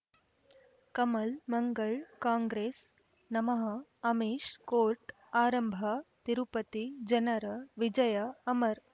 ಕಮಲ್ ಮಂಗಳ್ ಕಾಂಗ್ರೆಸ್ ನಮಃ ಅಮಿಷ್ ಕೋರ್ಟ್ ಆರಂಭ ತಿರುಪತಿ ಜನರ ವಿಜಯ ಅಮರ್